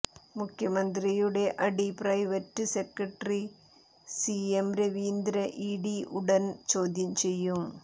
മുഖ്യമന്ത്രിയുടെ അഡീ private secretary CM രവീന്ദ്രനെ ഇഡി ഉടൻ ചോദ്യം ചെയ്യും